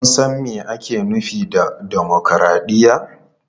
Kun san me ake nufi da dimokuraɗiyya?